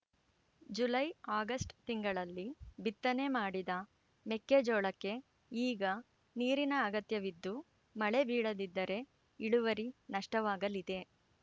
ಜುಲೈಆಗುಸ್ಟ್ ತಿಂಗಳಲ್ಲಿ ಬಿತ್ತನೆ ಮಾಡಿದ ಮೆಕ್ಕೆ ಜೋಳಕ್ಕೆ ಈಗ ನೀರಿನ ಅಗತ್ಯವಿದ್ದು ಮಳೆ ಬೀಳದಿದ್ದರೆ ಇಳುವರಿ ನಷ್ಟವಾಗಲಿದೆ